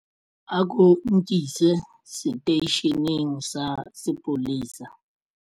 Ako nkise seteisheneng sa sepolesa.